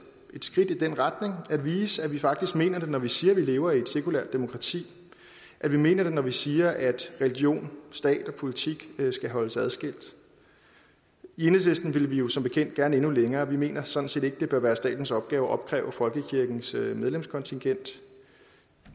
skridt i den retning at vise at vi faktisk mener det når vi siger at vi lever i et sekulært demokrati at vi mener det når vi siger at religion stat og politik skal holdes adskilt i enhedslisten vil vi jo som bekendt gerne endnu længere vi mener sådan set ikke at det bør være statens opgave at opkræve folkekirkens medlemskontingent